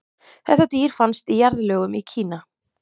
Þetta dýr fannst í jarðlögum í Kína.